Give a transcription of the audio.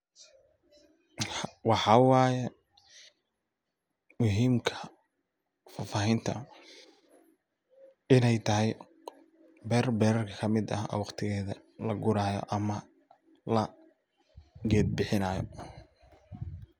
Waxaa waye muhiimka fahfaahinta inay tahay beer beeraha kamid ah oo waqtigeeda laguraaya ama la geed bixinaayo.